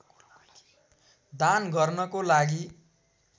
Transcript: दान गर्नको लागि